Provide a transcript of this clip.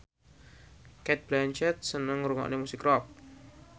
Cate Blanchett seneng ngrungokne musik rock